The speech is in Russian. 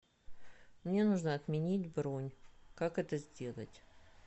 мне нужно отменить бронь как это сделать